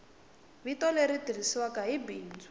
vito leri tirhisiwaku hi bindzu